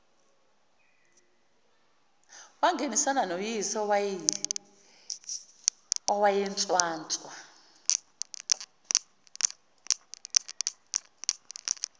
wangenisana noyise owayenswanswa